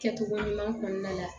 Kɛcogo ɲuman kɔnɔna la